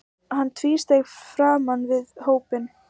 Hann tvísteig framan við hópinn.